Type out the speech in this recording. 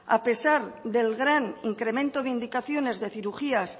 a pesar del gran incremento de indicaciones de cirugías